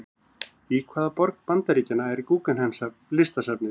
Í hvaða borg Bandaríkjanna er Guggenheim-listasafnið?